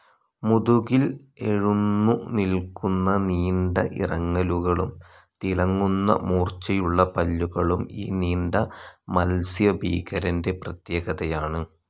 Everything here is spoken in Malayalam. മുതുകിൽ എഴുന്നു നിൽക്കുന്ന നീണ്ട ഇറങ്ങലുകളും തിളങ്ങുന്ന മൂർച്ചയുള്ള പല്ലുകളും ഈ നീണ്ട മത്സ്യഭീകരന്റെ പ്രത്യേകതയാണ്.